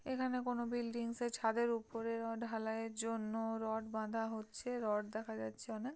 এখানে কোন বিল্ডিংস -এ ছাদের ওপর রড ঢালাই এর জন্য রড বাধা হচ্ছে রড দেখা যাচ্ছে অনেক ।